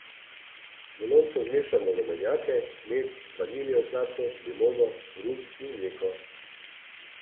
V lončku zmešamo rumenjake, med, vaniljev sladkor, limono, rum in mleko.